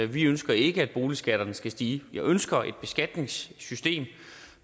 vi ønsker ikke at boligskatterne skal stige jeg ønsker et beskatningssystem